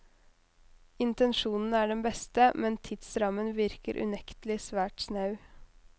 Intensjonen er den beste, men tidsrammen virker unektelig svært snau.